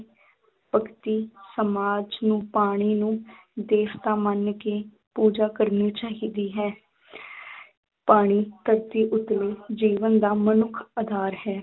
ਭਗਤੀ ਸਮਾਜ ਨੂੰ ਪਾਣੀ ਨੂੰ ਦੇਵਤਾ ਮੰਨ ਕੇ ਪੂਜਾ ਕਰਨੀ ਚਾਹੀਦੀ ਹੈ ਪਾਣੀ ਧਰਤੀ ਉੱਤਲੇ ਜੀਵਨ ਦਾ ਮਨੁੱਖ ਆਧਾਰ ਹੈ।